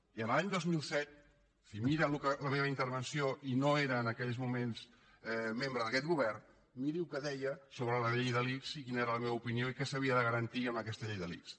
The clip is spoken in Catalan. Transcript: i l’any dos mil set si mira la meva intervenció i no era en aquells moments membre d’aquest govern miri el que deia sobre la llei de l’ics i quina era la meva opinió i què s’havia de garantir amb aquesta llei de l’ics